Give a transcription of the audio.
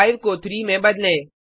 5 को 3 में बदलें